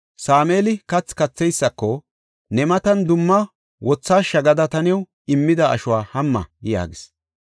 Sameeli kathi katheysako, “Ne matan dumma wothashsha gada taani new immida ashuwa hamma” yaagis.